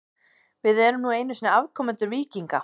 Við erum nú einu sinni afkomendur víkinga.